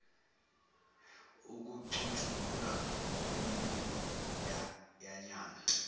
ukucutshungulwa kwemibiko yanyanga